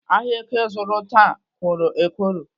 Ahịa èké zụrụ taa kworo ekworo